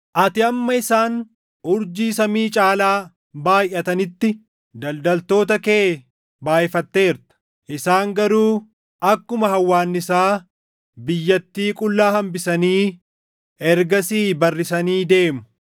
Ati hamma isaan urjii samii caalaa baayʼatanitti daldaltoota kee baayʼifatteerta; isaan garuu akkuma hawwaannisaa biyyatii qullaa hambisanii ergasii barrisanii deemu.